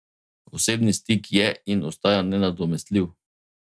Osebni stik je in ostaja nenadomestljiv!